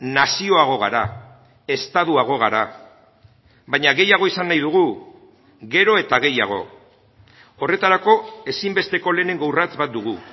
nazioago gara estatuago gara baina gehiago izan nahi dugu gero eta gehiago horretarako ezinbesteko lehenengo urrats bat dugu